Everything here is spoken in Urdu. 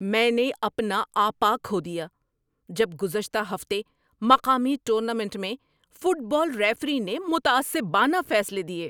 میں نے اپنا آپا کھو دیا جب گزشتہ ہفتے مقامی ٹورنامنٹ میں فٹ بال ریفری نے متعصبانہ فیصلے دیے۔